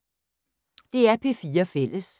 DR P4 Fælles